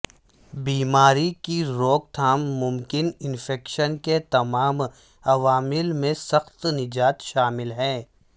بیماری کی روک تھام ممکن انفیکشن کے تمام عوامل میں سخت نجات شامل ہے